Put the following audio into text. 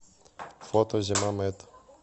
фото зимамэд